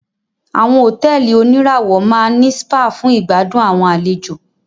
Àwọn hotẹ́ẹ́li oníràwọ̀ máà ní spa fún ìgbàdùn àwọn àlejò.